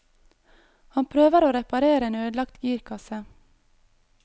Han prøver å reparere en ødelagt girkasse.